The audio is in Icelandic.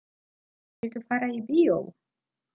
Viltu fara í bíó?